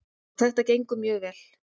Og þetta gengur mjög vel.